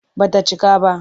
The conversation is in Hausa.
Ba ta cika ba.